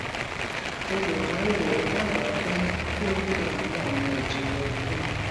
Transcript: olùdarí rẹ dábàá pé kí ó fi àwọn ọnà ììjìnlẹ kún un